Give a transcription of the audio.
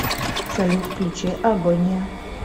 салют включи агония